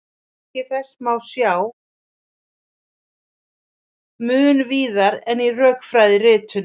Merki þessa má sjá mun víðar en í rökfræðiritunum.